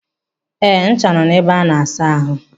Eh, ncha nọ n'ime ebe a na-asa ahụ.